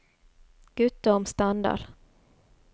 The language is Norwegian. Guttorm Standal